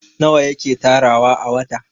nawa yake tarawa a wata?